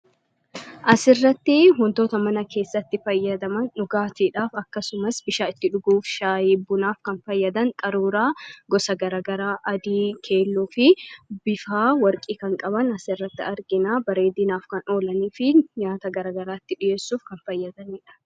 As irratti huntoota mana keessatti fayyadama dhugaatiidhaaf akkasumas bishaa itti dhuguuf shaayi bunaaf kan fayyadan qaruuraa gosa garagaraa adii keelloo fi bifaa warqii kan qaban as irratti arginaa bareedinaaf kan oolanii fi nyaata garagaraatti dhi'eessuuf kan fayyadaniidha.